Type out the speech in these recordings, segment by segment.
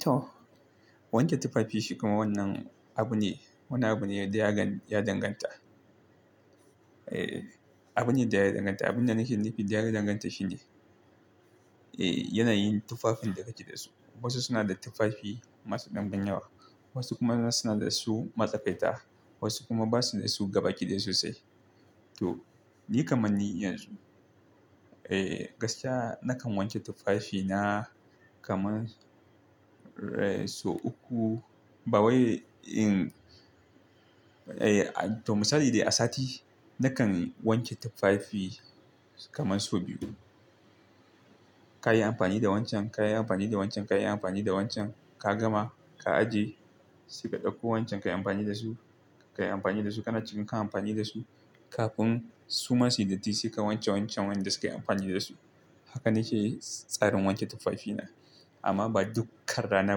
To wanke tufafi shi kuma wannan abu ne. Woni abu ne dai ya danganta. Eh, abu ne da ya danganta. Abun dan nake, nu fi ya danganta shi ne. Eh, yanayin tufafin da kake da su. Wasu suna da tufafi masu ɗan ban yawa. Wasu kuma suna da su masa ƙaita. Wasu kuma ba su da su gaba ki ɗaya sosai. To, ni kaman ni inada su. Eh, gaskiya nakan wanke tufafina kaman, eh, sau uku. Ba wai in Eh, to misali dai a sati na kan wanke tufafi kamar sau biyu. Ka yi amfani da wancan, ka yi amfani da wancan, ka yi amfani da wancan. Ka gama, ka aje. Saika ɗauko wancan ka yi amfani da su, ka yi amfani da su. Kana cikin kan amfani da su kafin su ma suyi dotti sai wanke wancan wanda suka yi amfani da su. Haka na ke tsarin wanke tufafina. Amma ba duk kar rana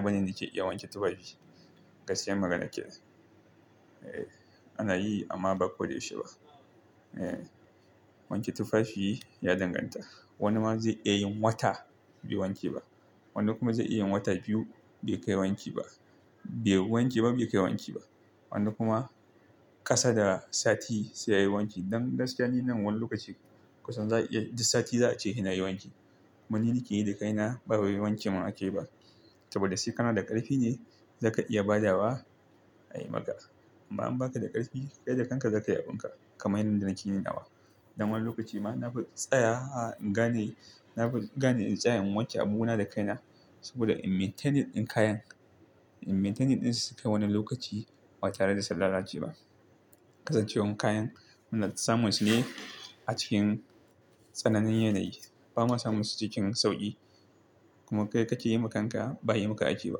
bane ni ke iya wanke tufafi. Gaskiyan magana kenan. Eh, ana yi amma ba ko da yaushe ba. Eh, wanke tufafi ya danganta. Woni ma zai iya yin wata bai wanke ba. Wani kuma zai iya yin wata biyu bai kai wanki ba. Bai wanke ba, bai kai wanki ba. Woni kuma ƙasa da sati sai ya yi wanki. Dan gaskiya ni nan woni lokaci kusan za iya duk sati za a ce sai na yi wanki. Woni ni ke yi da kaina. Ba wai wanke mun ake ba saboda sai kana da ƙarfi ne zaka iya badawa. Ayi maka. Amma in baka da ƙarfi kai da kanka, zaka yi abun ka kaman yanda nake yin nawa. Dan woni lokaci ma na fi tsaya in gane, na gani in tsaya in wanke abu na da kaina. Saboda in maintenin ɗin kayan, in maintenin din su sukai woni lokaci ba tare da sun lalace ba. Kasancewan kayan ina samun su ne a cikin tsananin yanayi. Ba ma samun su cikin sauƙi. Kuma kai ka ke yi ma kan ka ba yi maka ake ba.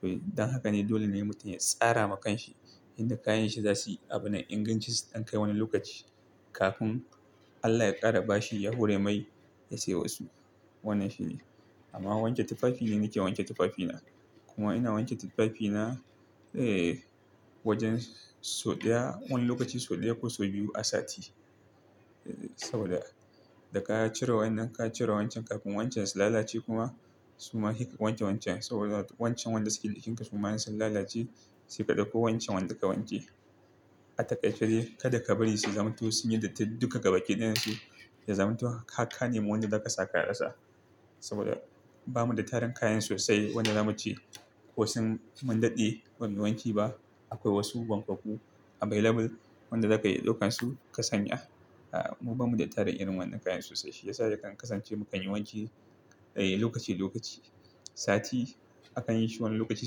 To, don haka ne dole ne mutum ya tsara ma kan shi inda kayan shi za su yi abun nan. In ganci su ɗan kai woni lokaci kafin Allah ya ƙara ba shi yahore mai ya sai wasu. Wannan shi ne. Amma wanke tufafi ni, na ke wanke tufafina. Kuma ina wanke tufafina. Eh, wajen sau ɗaya wani lokaci sau ɗaya ko sau biyu a sati. Saboda da ka cire wayan nan ka cire wancan kafin wancan su lalace kuma suma sai ka wanke wancan. Saboda wancan wanda suke jikin ka su ma in sun lalace saika ɗauko wancan wanda ka wanke. Atakaice dai kada ka bari su zamto sun yi dotti duka gaba ki ɗayan su ya zamto har ka nemo wanda za ka sa ka rasa. Saboda bamu da tarin kayan sosai. Wanda zamuce ko sun mun daɗe ba mu yi wanki ba. Akwai wasu wankak ku available wanda za ka iya ɗaukan su ka sanya. Mu bamu da tarin irin wannan kayan sosai. Shi ya sa za kan kasance mu kan yi wanki lokaci lokaci. Sati akan yi shi woni lokaci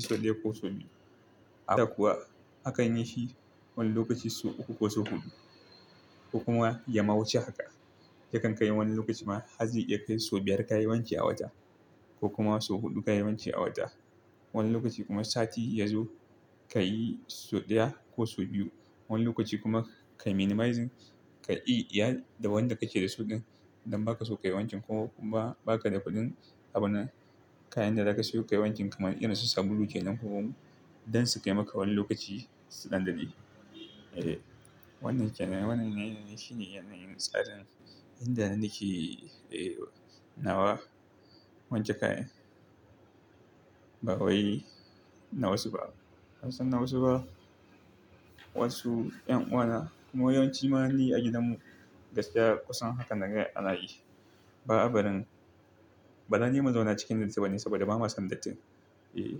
sau ɗaya ko sau biyu. Haka kuwa akan yi shi woni lokaci sau uku ko sau huɗu. Ko kuma ya ma wuce haka. Ta kan kai woni lokaci ma har zai iya kai sau biyar ka yi wanki a wata ko kuma sau huɗu ka yi wanki a wata. Wani lokaci kuma sati ya zo ka yi sau ɗaya ko sau biyu. Wani lokaci kuma ka minimizing. Kayi iya da wanda ka ke da suɗin don baka so ka yi wankin ko kuma ba ka da kuɗin abun nan. Kayan da za ka seyo ka yi wankin kaman irin su sabulu kenan ko omo don su kai maka woni lokaci. Suɗan daɗe. Eh, wannan kenan, wannan ne ne shi ne yanayin tsarin inda na ke, eh, nawa wanke kayan. Ba wai na wasu ba. Ka san na wasu ba. Wasu yan uwa na mu yawan shi ma ni a gidan mu gaskiya kusan haka naga ana yi. Ba a barin. Ba dani mu zauna cikin dotti ba ne saboda ba ma son dottin. Eh,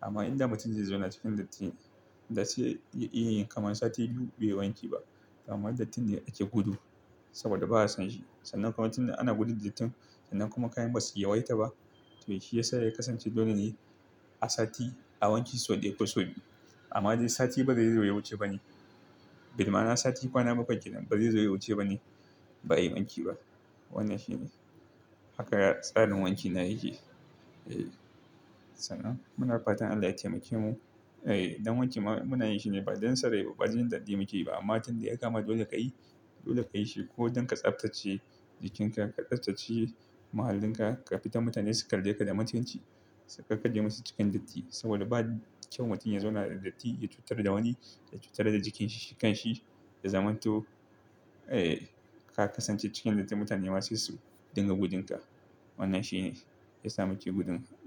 amma inda mutum zai zauna cikin dotti, da sai ya iya yin kaman sati biyu bai yi wanki ba. Kamar dotti ne ake gudu saboda ba a son shi. Sannan kuma tun da ana gudun dotti sannan kuma kayan ba su ya waita ba. To shi ya sa da ya kasance dole ne a sati a wanki sau ɗaya ko sau biyu. Amma dai sati ba zai zo ya wuce ba ne. Bi ma'ana sati kwana bakwai kenan ba zai zo ya wuce ba ne ba ayi wanki ba. Wannan shi ne. Haka tsarin wanki na yake. Eh, sannan muna fatan Allah ya taimake mu. Eh, don wanki ma muna yi shi ne ba don son rai ba bajin daɗi mu ke yiba. Amma tun da ya kama dole ka yi, dole ka yi shi ko don ka tsaftace jikinka, ka tsaftace muhallinka kafin mutane su kalle ka da mutunci. Sai ka kalle musu cikin dotti saboda ba kyau mutum ya zauna da dotti ya cutar da woni, ya cutar da jikin shi kan shi ya zamanto. Eh, ka kasance cikin dotti mutane ma sai su dinga gudun ka. Wannan shi ne ya sa muke gudun dot.